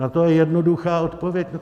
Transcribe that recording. Na to je jednoduchá odpověď.